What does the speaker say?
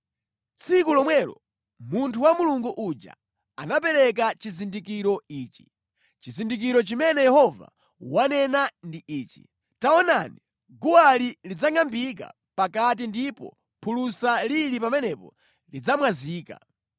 Tsiku lomwelo munthu wa Mulungu uja anapereka chizindikiro ichi: “Chizindikiro chimene Yehova wanena ndi ichi: Taonani guwali lidzangʼambika pakati ndipo phulusa lili pamenepo lidzamwazika.”